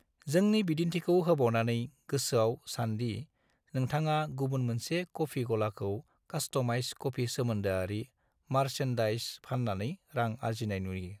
जोंनि बिदिन्थिखौ होबावनानै, गोसोआव सान दि नोंथाङा गुबुन मोनसे कफी गलाखौ कास्टमाइज्ड कफी-सोमोन्दोआरि मार्चेन्डाइज फान्नानै रां आर्जिनाय नुयो।